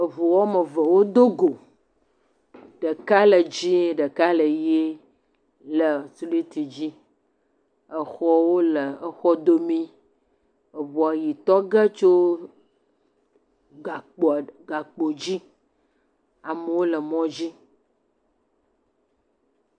Eŋu woame eve wodo go, ɖeka le dzee, ɖeka ʋe le simiti dzi, exɔwo le exɔ domee, eŋua ʋetɔ ge tso gakpo dzi, amewo le mɔ dzi.